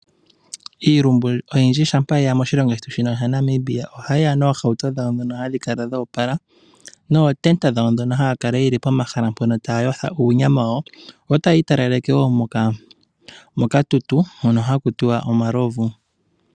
Iilumbu oyindji shampa ye ya moshilongo shetu shino shaNamibia, o ha yi ya noohauto dhawo ndhono hadhi kala dhoopala, nootenda dhawo ndhono haa kala ye li pomahala mpono taya yotha uunyama wawo, yo taya i talaleke wo mokatutu hono haku tiwa omalovu.